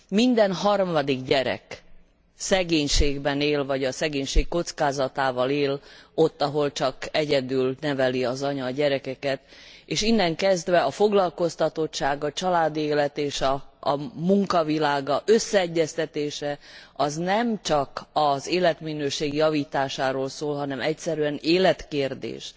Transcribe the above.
Minden harmadik gyerek szegénységben él, vagy a szegénység kockázatával él ott, ahol csak egyedül neveli az anya a gyerekeket, és innen kezdve a foglalkoztatottság, a családi élet és a munka világa összeegyeztetése az nemcsak az életminőség javításáról szól, hanem egyszerűen életkérdés.